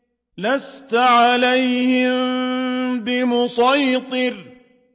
لَّسْتَ عَلَيْهِم بِمُصَيْطِرٍ